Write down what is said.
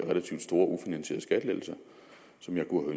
relativt store ufinansierede skattelettelser som jeg kunne